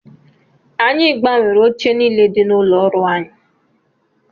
Anyị gbanwere oche niile dị n'ụlọ ọrụ anyị